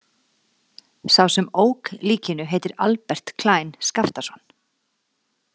Sá sem ók likinu heitir Albert Klein Skaftason.